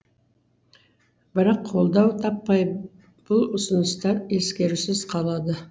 бірақ қолдау таппай бұл ұсыныстар ескерусіз қалады